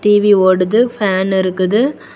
TV ஓடுது fan இருக்குது.